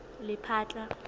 lephatla